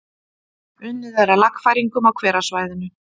Unnið er að lagfæringum á hverasvæðinu